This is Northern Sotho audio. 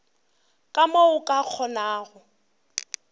ka mo o ka kgonago